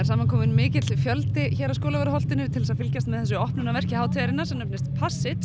saman kominn mikill fjöldi hér á Skólavörðuholtinu til þess að fylgjast með þessu opnunarverki hátíðarinnar sem nefnist